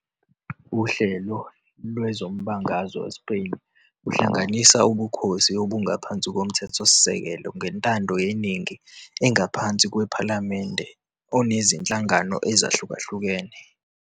uHlelo lwezombangazwe weSpeyini uhlanganisa ubukhosi obungaphansi kwomthethosikelelo ngentandoyeningi engaphansi kwephalamende onezinhlangano ezihlukahlukene.